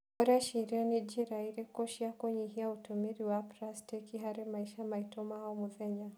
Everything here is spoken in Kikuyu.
ũreciria nĩ njĩra irĩkũ cia kũnyihia ũtũmĩri wa pracitĩki harĩ maica maitũ ma o mũthenya?